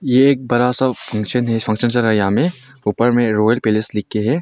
एक बरा सा फंक्शन में ऊपर में रॉयल पैलेस लिख के है।